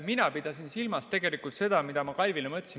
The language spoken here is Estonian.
Mina pidasin silmas tegelikult seda, mida ma Kalvile ütlesin.